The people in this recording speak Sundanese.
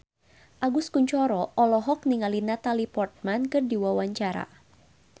Agus Kuncoro olohok ningali Natalie Portman keur diwawancara